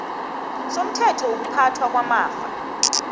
somthetho wokuphathwa kwamafa